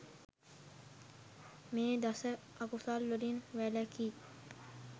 මේ දස අකුසල් වලින් වැළැකී